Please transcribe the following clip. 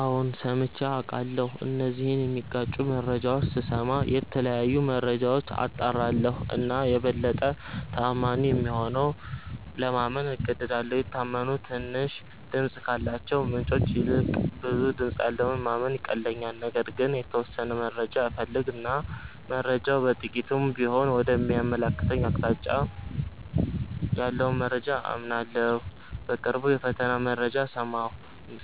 አዎ ሠምቼ አቃለሁ እነዚህን ሚጋጩ መረጃዎች ስስማ የተለያዩ መረጃዎች አጣራለሁ እና የበለጠ ተአማኒ የሆነውን ለማመን እገደዳለሁ። የታመኑ ትንሽ ድምፅ ካላቸው ምንጮች ይልቅ ብዙ ድምጽ ያለውን ለማመን ይቀለኛል። ነገር ግን የተወሠነ መረጃ እፈልግ እና መረጃው በጥቂቱም ቢሆን ወደ ሚያመለክተኝ አቅጣጫ ያለውን መረጃ አምናለሁ። በቅርቡ የፈተና መረጃ